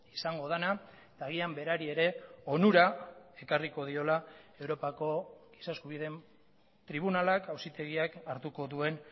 izango dena eta agian berari ere onura ekarriko diola europako giza eskubideen tribunalak auzitegiak hartuko duen